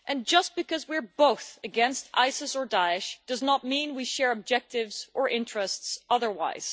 Just because we are both against ISIS or Daesh, it does not mean we share objectives or interests otherwise.